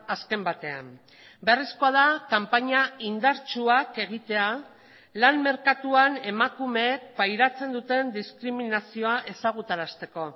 azken batean beharrezkoa da kanpaina indartsuak egitea lan merkatuan emakumeek pairatzen duten diskriminazioa ezagutarazteko